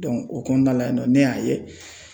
o kɔɔna la yen nɔ ne y'a ye